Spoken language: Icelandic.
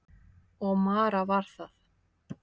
Og Mara var það.